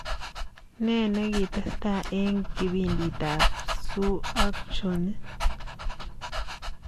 Ne negitestai eng kipimditab su ak choni